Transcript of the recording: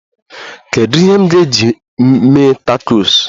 Kedu ihe m ga-eji mee takos?